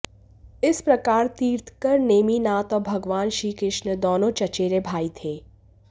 इस प्रकार तीर्थंकर नेमिनाथ और भगवान श्रीकृष्ण दोनों चचेरे भाई थे